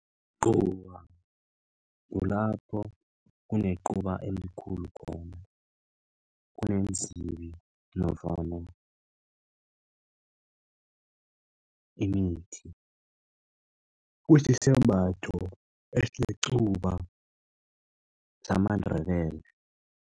Icuba kulapho kunequba elikhulu khona kuneenzibi nofana imithi kusisembatho esinequba samaNdebele.